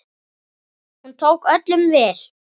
Hún tók öllum vel.